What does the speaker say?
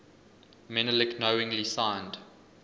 menelik knowingly signed